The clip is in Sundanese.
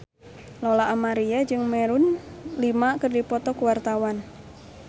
Lola Amaria jeung Maroon 5 keur dipoto ku wartawan